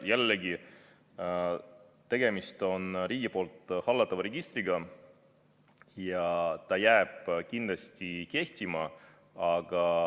Jällegi on tegemist riigi poolt hallatava registriga ja ta jääb kindlasti kehtima.